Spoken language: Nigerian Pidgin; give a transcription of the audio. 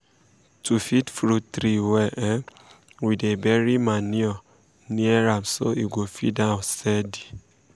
to feed fruit tree well um we dey bury manure near am so e go feed am steady.